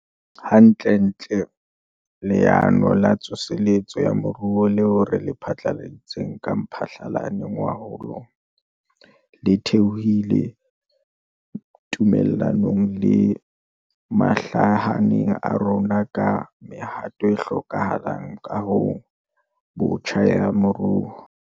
Hantlentle, Leano la Tsoseletso ya Moruo leo re le phatlaladitseng ka Mphalane ngwahola, le thehilwe tumellanong le mahlahana a rona ka mehato e hlokahalang kahong botjha ya moruo.